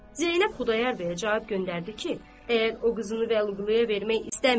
Zeynəb Xudayar bəyə cavab göndərdi ki, əgər o qızını Vəliquluya vermək istəmir.